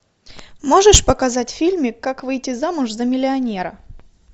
можешь показать фильмик как выйти замуж за миллионера